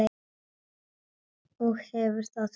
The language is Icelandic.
Og hefur það fínt.